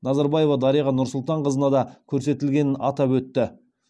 назарбаева дариға нұрсұлтанқызына да көрсетілгенін атап өтті